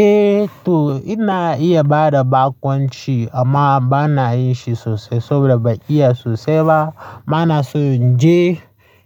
Eh to ina iya bada bakonci amma bana yin shi sosai saboda ban iya sosai ba. Bana so in je